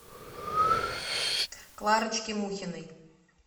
кларочки мухиной